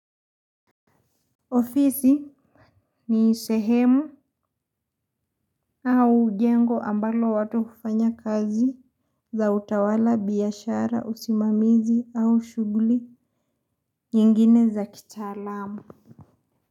Ofisi, ni sehemu, au jengo ambalo watu ufanya kazi za utawala, biashara usimamizi au shughuli nyingine za kitalamu.